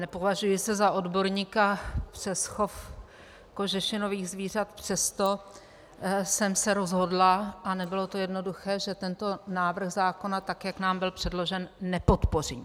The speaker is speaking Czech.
Nepovažuji se za odborníka přes chov kožešinových zvířat, přesto jsem se rozhodla, a nebylo to jednoduché, že tento návrh zákona, tak jak nám byl předložen, nepodpořím.